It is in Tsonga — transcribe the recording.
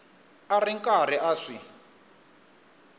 a ri karhi a swi